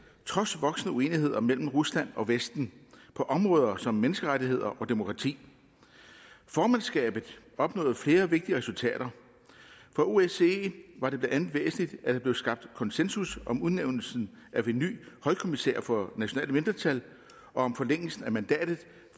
trods voksende uenigheder mellem rusland og vesten på områder som menneskerettigheder og demokrati formandskabet opnåede flere vigtige resultater for osce var det blandt andet væsentligt at der blev skabt konsensus om udnævnelsen af en ny højkommissær for nationale mindretal og om forlængelsen af mandatet